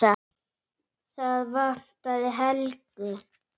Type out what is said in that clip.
Það vantaði Helgu.